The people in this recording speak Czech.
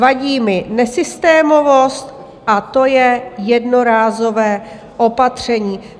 Vadí mi nesystémovost a to je jednorázové opatření."